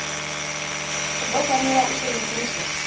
u ḓo fanela u sengulusa